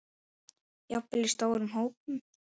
Jafnvel í stórum hópum?